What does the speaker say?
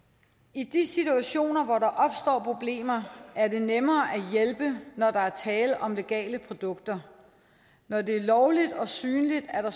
i de situationer hvor der opstår problemer er det nemmere at hjælpe når der er tale om legale produkter når det er lovligt og synligt er der